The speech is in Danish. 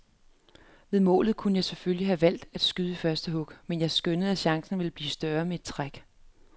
Ved målet kunne jeg selvfølgelig have valgt at skyde i første hug, men jeg skønnede at chancen ville blive større med et træk.